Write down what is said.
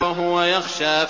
وَهُوَ يَخْشَىٰ